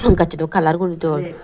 gassot daw colour guri dun.